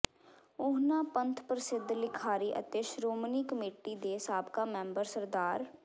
ਉਨ੍ਹਾਂ ਪੰਥ ਪ੍ਰਸਿੱਧ ਲਿਖਾਰੀ ਅਤੇ ਸ੍ਰੋਮਣੀ ਕਮੇਟੀ ਦੇ ਸਾਬਕਾ ਮੈਂਬਰ ਸ੍ਰ